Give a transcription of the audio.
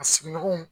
A sigiɲɔgɔnw